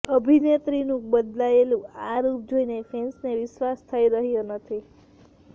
અભિનેત્રીનું બદલાયેલું આ રૂપ જોઇને ફેન્સને વિશ્વાસ થઇ રહ્યો નથી